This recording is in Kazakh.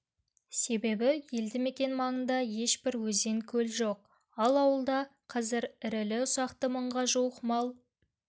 себебі елді мекен маңында ешбір өзен көл жоқ ал ауылда қазір ірілі-ұсақты мыңға жуық мал